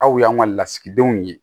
Aw y'an ka lasigidenw ye